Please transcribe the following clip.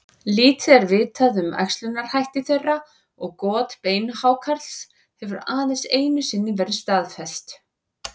Lítið er vitað um æxlunarhætti þeirra og got beinhákarls hefur aðeins einu sinni verið staðfest.